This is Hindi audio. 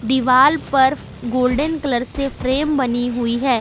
दीवाल पर गोल्डेन कलर से फ्रेम बनी हुई है।